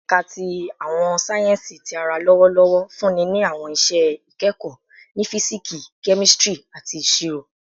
Ẹka ti Awọn sáyẹnsì Ti ara lọwọlọwọ nfunni ni awọn iṣẹ ikẹkọ ni Fisiksi, Kemistri, ati Iṣiro